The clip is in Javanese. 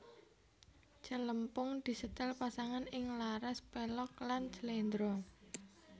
Celempung disetel pasangan ing laras pelog lan slendro